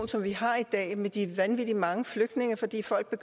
som vi har i dag med de vanvittig mange flygtninge fordi folk